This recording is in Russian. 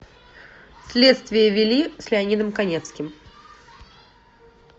следствие вели с леонидом каневским